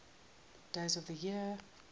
days of the year